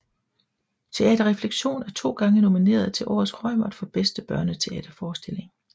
Teater Refleksion er to gange nomineret til Årets Reumert for Bedste Børneteaterforestilling